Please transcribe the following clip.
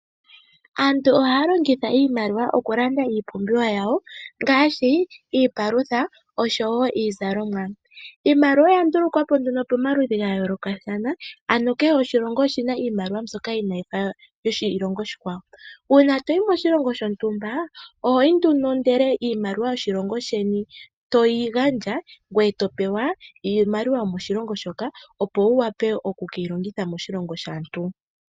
Aantu ohaya longitha iimaliwa okulanda iipumbiwa yawo ngaashi iipalutha oshowo Iizalomwa . Iimaliwa oya ndulukwapo nduno pomaludhi gayoolokathana ano kehe oshilongo oshina iimaliwa mbyoka inayi fa iimaliwa yoshilongo oshikwawo . Uuna toyi moshilongo shontumba ohoyi nduno ndele iimaliwa yoshilongo sheni toyi gandja ngweye topewa iimaliwa yomoshilongo shoka opo wu wape oku keyi longitha moshilongo dhaantu .